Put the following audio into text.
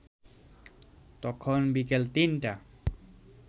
তখন বিকেল ৩টা